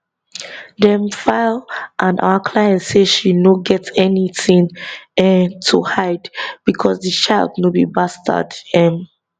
dem file and our client say she no get anytin um to hide becos di child no be bastard um